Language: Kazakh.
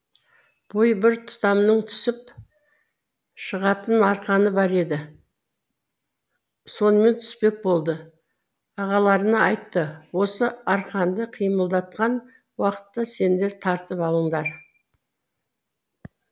бойы бір тұтамның түсіп шығатын арқаны бар еді сонымен түспек болды ағаларына айтты осы арқанды қимылдатқан уақытта сендер тартып алыңдар